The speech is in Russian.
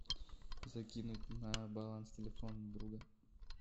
закинуть на баланс телефона друга